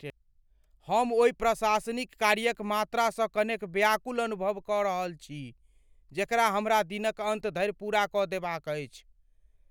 हम ओहि प्रशासनिक कार्यक मात्रासँ कनेक व्याकुल अनुभव कऽ रहल छी जेकरा हमरा दिनक अन्त धरि पूरा कऽ देबाक अछि।